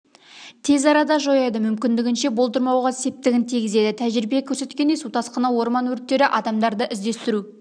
тез арада жояды мүмкіндігінше болдырмауға септігін тигізеді тәжірибе көрсеткендей су тасқыны орман өрттері адамдарды іздестіру